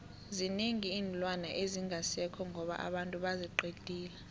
zinengi iinlwana ezingasekho ngoba abantu baziqedile